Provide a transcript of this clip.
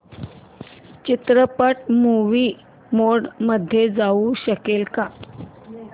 चित्रपट movie mode मध्ये येऊ शकेल का